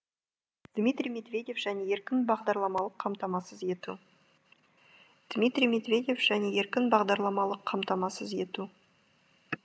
дмитрий медведев және еркін бағдарламалық қамтамасыз ету дмитрий медведев және еркін бағдарламалық қамтамасыз ету